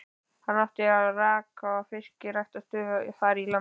Hann átti og rak fyrstu fiskræktarstöðina þar í landi.